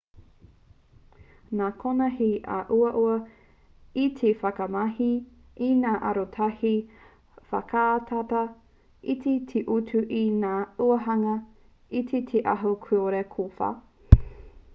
nā konā he uaua te whakamahi i ngā arotahi whakatata iti te utu ki ngā āhuahanga iti te aho kore kōwhā